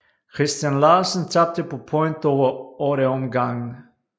Christian Larsen tabte på point over 8 omgange